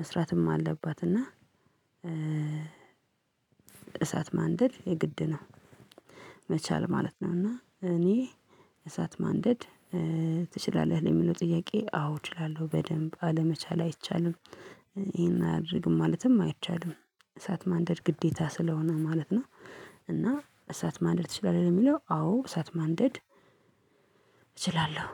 መስራትም አለባት። እና እሳት ማንደድ የግድ ነው መቻል ማለት ነው። እና እኔ እሳት ማንደድ ትችላለህ ለሚለው ጥያቄ አዎ እችላለሁ በደንብ አለመቻል አይቻልም። ይሄን አያደርግም ማለትም አይቻልም። እሳት ማንደድ ግዴታ ስለሆነ ማለት ነው። እና እሳት ማንደድ ትችላለህ የሚለው አዎ እሳት ማንደድ እችላለሁ